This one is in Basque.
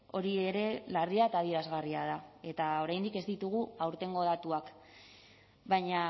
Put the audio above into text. hori ere larria eta adierazgarria da eta oraindik ez ditugu aurtengo datuak baina